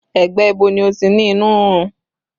Ẹ̀gbẹ́ ibo ni o ti ní inú rírun?